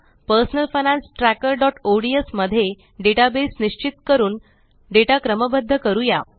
personal finance trackerओडीएस मध्ये database निश्चित करून डेटा क्रमबद्ध करूया